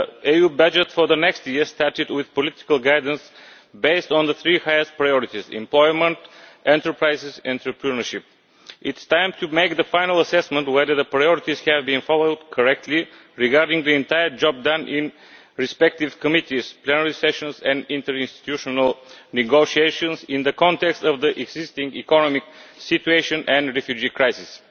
The EU budget for next year started with political guidance based on the three highest priorities employment, enterprises and entrepreneurship. It is time to make the final assessment on whether the priorities have being followed correctly regarding the entire job done in the respective committees, plenary sessions and interinstitutional negotiations in the context of the existing economic situation and refugee crisis.